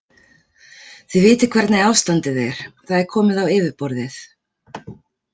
Þið vitið hvernig ástandið er, það er komið á yfirborðið.